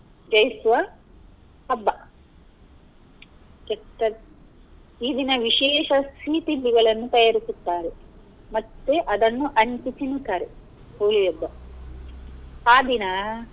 ಜಯಿಸುವ ಹಬ್ಬ ಕೆಟ್ಟ ಈ ದಿನ ವಿಶೇಷ ಸಿಹಿ ತಿಂಡಿಗಳನ್ನು ತಯಾರಿಸುತ್ತಾರೆ ಮತ್ತೆ ಅದನ್ನು ಹಂಚಿ ತಿನ್ನುತ್ತಾರೆ Holi ಹಬ್ಬ ಅ ದಿನ.